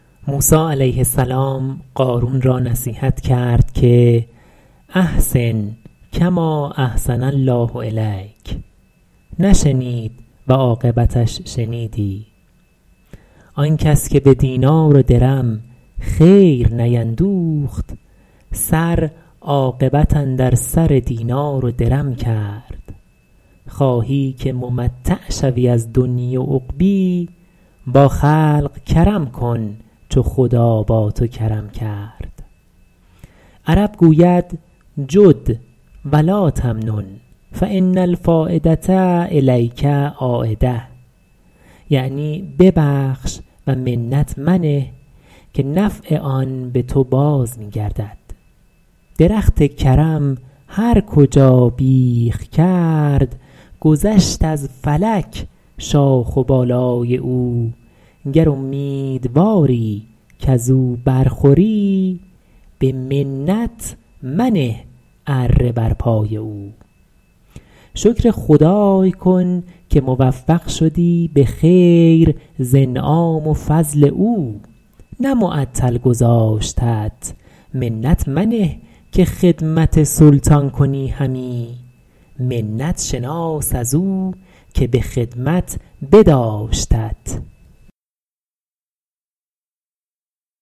موسی علیه السلام قارون را نصیحت کرد که احسن کما احسن الله الیک نشنید و عاقبتش شنیدی آن کس که به دینار و درم خیر نیندوخت سر عاقبت اندر سر دینار و درم کرد خواهی که ممتع شوی از دنیا و عقبا با خلق کرم کن چو خدا با تو کرم کرد عرب گوید جد و لاتمنن فان الفایدة الیک عایدة یعنی ببخش و منت منه که نفع آن به تو باز می گردد درخت کرم هر کجا بیخ کرد گذشت از فلک شاخ و بالای او گر امیدواری کز او بر خوری به منت منه اره بر پای او شکر خدای کن که موفق شدی به خیر ز انعام و فضل او نه معطل گذاشتت منت منه که خدمت سلطان کنی همی منت شناس از او که به خدمت بداشتت